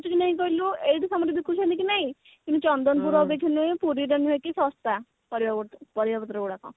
ହଉଛି କି ନାଇଁ କହିଲୁ ଏଠି ସମସ୍ତେ ବିକୁଛନ୍ତି କି ନାଇଁ ମୁଁ ଚନ୍ଦନପୁର ରେ ଥିଲେ ପୁରୀ ର ନୁହଁ କି ଶସ୍ତା ପାରିବା ପତ୍ର ପରିବାପତ୍ର ଗୁଡାକ